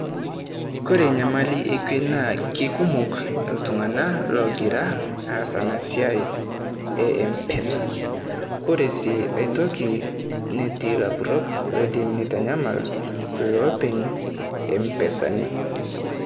Kore enyamali ekue naa, kekumok iltung'ana ogira aas ena siai e Mpesa. Koree sii aitoki, netii ilapurok loidim nitanyamal ilopeny lo mpesani.